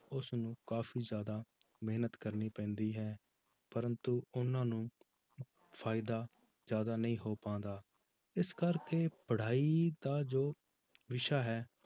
ਉਸਨੂੰ ਕਾਫ਼ੀ ਜ਼ਿਆਦਾ ਮਿਹਨਤ ਕਰਨੀ ਪੈਂਦੀ ਹੈ ਪਰੰਤੂ ਉਹਨਾਂ ਨੂੰ ਫ਼ਾਇਦਾ ਜ਼ਿਆਦਾ ਨਹੀਂ ਹੋ ਪਾਉਂਦਾ, ਇਸ ਕਰਕੇ ਪੜ੍ਹਾਈ ਦਾ ਜੋ ਵਿਸ਼ਾ ਹੈ